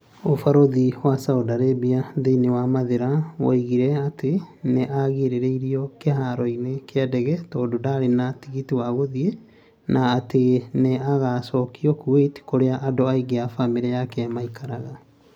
ũbarũthi wa Saudi Arabia thĩinĩ wa Mathira woigire atĩ nĩ agirĩrĩirio kĩharo-inĩ kĩa ndege 'tondũ ndarĩ na tigiti wa gũthiĩ na atĩ nĩ ĩgaacokio Kuwait 'kũrĩa andũ aingĩ a famĩrĩ yake maikaraga.